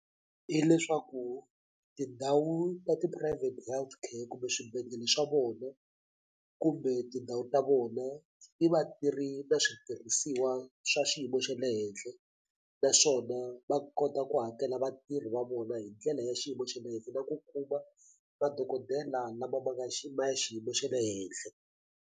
Hi leswaku tindhawu ta ti-private healthcare kumbe swibedhlele swa vona kumbe tindhawu ta vona ti va tiri na switirhisiwa swa xiyimo xa le henhla naswona va kota ku hakela vatirhi va vona hi ndlela ya xiyimo xa le henhla na ku kuma madokodela lama ma nga ma xiyimo xa le henhla.